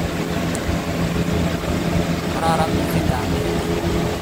kararan mising kamenyin